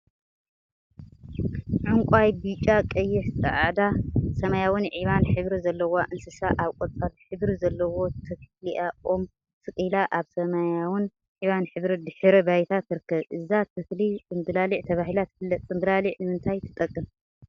ዕንቋይ፣ ብጫ፣ ቀይሕ፣ ፃዕዳ፣ ሰማያዊን ዒባን ሕብሪ ዘለዋ እንስሳ አብ ቆፃል ሕብሪ ዘለዎ ተክሊአ ኦም ተሰቂላ አብ ሰማያዊን ዒባን ሕብሪ ድሕረ ባይታ ትርከብ፡፡ እዛ ተክሊ ፅምብላሊዕ ተባሂላ ትፍለጥ፡፡ ፅምብላሊዕ ንምንታይ ትጠቅም?